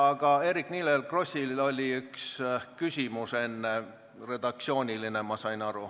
Aga Eerik-Niiles Krossil oli enne üks redaktsiooniline küsimus, kui ma õigesti aru sain.